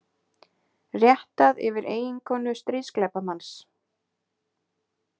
Réttað yfir eiginkonu stríðsglæpamanns